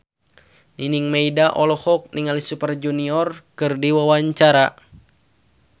Nining Meida olohok ningali Super Junior keur diwawancara